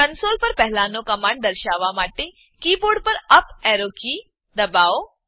console પર પહેલાનો command દર્શાવવા માટે કીબોર્ડ પર UP arrow up arrow key દબાવો